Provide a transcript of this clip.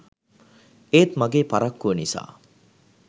ඒත් මගේ පරක්කුව නිසා